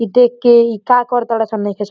ई देख के इ का कर तड़ सन नईखे स --